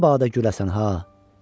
məbadə güləsən ha,